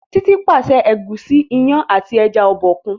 Titi pàṣẹ Egusi, iyán àti ẹja Obòkun.